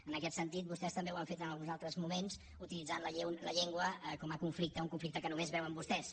en aquest sentit vostès també ho han fet en alguns altres moments utilitzant la llengua com a conflicte un conflicte que només veuen vostès